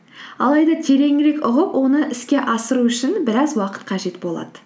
алайда тереңірек ұғып оны іске асыру үшін біраз уақыт қажет болады